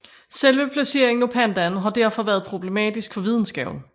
Selve placeringen af pandaen har derfor været problematisk for videnskaben